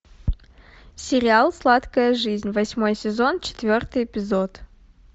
сериал сладкая жизнь восьмой сезон четвертый эпизод